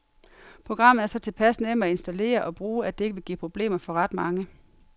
Programmet er så tilpas nemt at installere og bruge, at det ikke vil give problemer for ret mange.